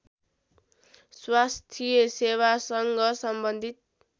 स्वास्थ्य सेवासँग सम्बन्धित